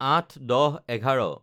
০৮/১০/১১